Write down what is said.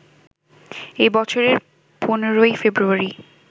এ বছরের ১৫ই ফেব্রুয়ারি